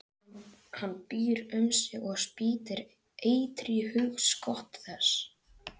Hann býr um sig og spýr eitri í hugskot þess.